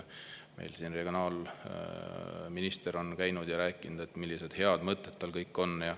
Meil siin regionaalminister on käinud ja rääkinud, millised head mõtted tal kõik on.